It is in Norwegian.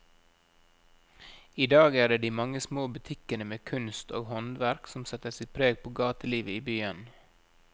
I dag er det de mange små butikkene med kunst og håndverk som setter sitt preg på gatelivet i byen.